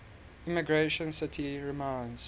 emigration city reminds